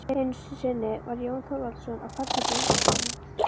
Einhverju sinni var Jón Þorvaldsson á ferð til Blönduóss.